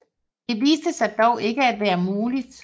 Det viste sig dog ikke at være muligt